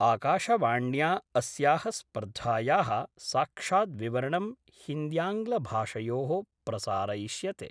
आकाशवाण्या अस्याः स्पर्धायाः साक्षाद्विवरणं हिन्द्यांग्लभाषयो: प्रसारयिष्यते।